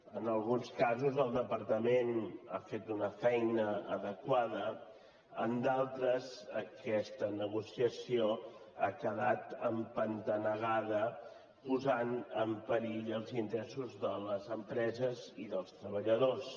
en alguns casos el departament ha fet una feina adequada en altres aquesta negociació ha queda empantanegada posant en perill els interessos de les empreses i dels treballadors